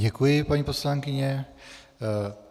Děkuji, paní poslankyně.